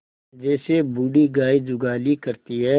जैसे बूढ़ी गाय जुगाली करती है